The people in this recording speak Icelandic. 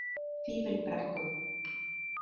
Fífilbrekku